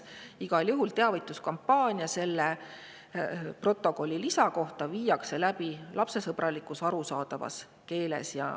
Igal juhul viiakse selle lisaprotokolli kohta läbi teavituskampaania, mis on lapsesõbralikus, arusaadavas keeles.